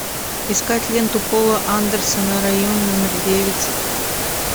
искать ленту пола андерсона район номер девять